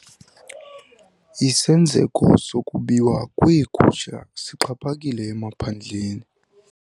Isenzeko sokubiwa kweegusha sixhaphakile emaphandleni.